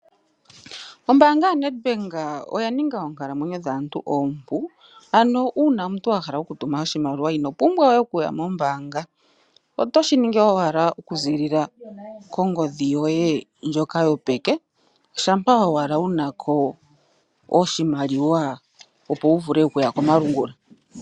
Ombaanga yoBank Windhoek oya ninga oonkalamwenyo dhaantu oompu. Uuna wa hala okutuma oshimaliwa ino pumbwa we okuya mombaanga, otoshi ningi owala to longitha ongodhi yoye yopeke, shampa owala wu na ko oshimaliwa lyokongodhi, opo wu vule okuya komalungula.